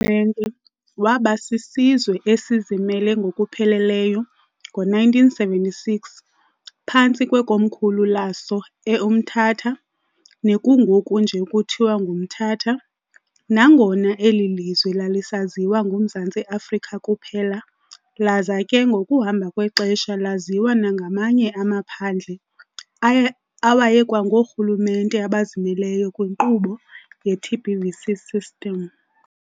Rhulumente wabasisizwe esizimele ngokupheleleyo ngo-1976 phantsi kwekomkhulu laso eUmtata, nekungoku nje kuthiwa ngumThatha, nangona eli lizwe lalisaziwa ngumZantsi Afrika kuphela laza ke ngokuhamba kwexesha laziwa nangamanye amaphandle awayekwangoorhulumente abazimeleyo kwinkqubo ye-TBVC-system.